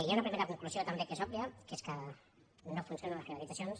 hi ha una primera conclusió també que és òbvia que és que no funcionen les privatitzacions